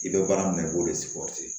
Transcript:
I bɛ baara min na i b'o de